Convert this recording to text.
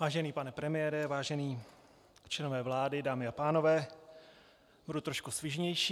Vážený pane premiére, vážení členové vlády, dámy a pánové, budu trošku svižnější.